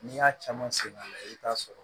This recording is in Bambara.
N'i y'a caman sɛgɛn a la i bi t'a sɔrɔ